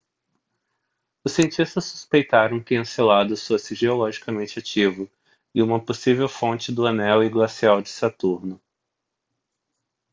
os cientistas suspeitaram que enceladus fosse geologicamente ativo e uma possível fonte do anel e glacial de saturno